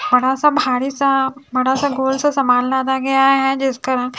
बड़ासा भारीसा बड़ा सा गोल सा सामान लादा गया है जिसका रंग--